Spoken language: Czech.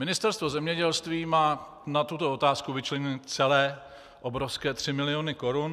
Ministerstvo zemědělství má na tuto otázku vyčleněny celé obrovské 3 miliony korun.